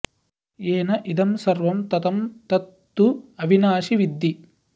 येन इदं सर्वं ततं तत् तु अविनाशि विद्धि